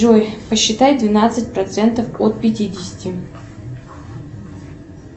джой посчитай двенадцать процентов от пятидесяти